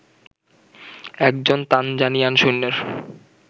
একজন তানজানিয়ান সৈন্যের